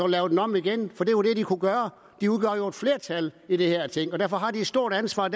lave den om igen for det er jo det de kunne gøre de udgør jo et flertal i det her ting og derfor har de et stort ansvar og